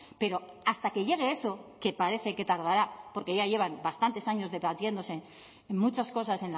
pero hasta que llegue eso que parece que tardará porque ya llevan bastantes años debatiéndose en muchas cosas